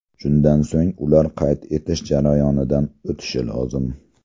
Shundan so‘ng ular qayd etish jarayonidan o‘tishi lozim.